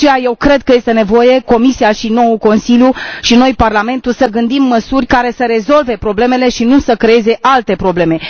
De aceea, eu cred că este nevoie ca Comisia și noul Consiliu și noi, Parlamentul, să gândim măsuri care să rezolve problemele și nu să creeze alte probleme.